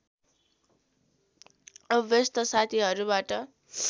अभ्यस्त साथीहरूबाट